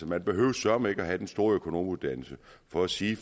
man behøver søreme ikke have den store økonomuddannelse for at sige